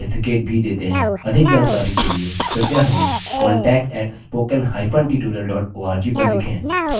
अधिक जानकारी के लिए कृपया हमें contact @spoken hyphen tutorial org पर लिखें